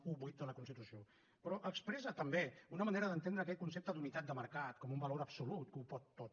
vuit de la constitució però expressa també una manera d’entendre aquest concepte d’unitat de mercat com un valor absolut que ho pot tot